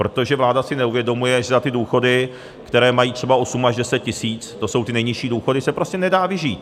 Protože vláda si neuvědomuje, že za ty důchody, které mají třeba 8 až 10 tis., to jsou ty nejnižší důchody, se prostě nedá vyžít.